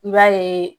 I b'a ye